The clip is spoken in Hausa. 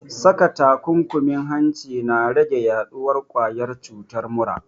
Saka takunkumin hanci na rage yaɗuwar ƙwayar cutar mura